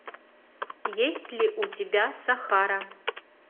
есть ли у тебя сахара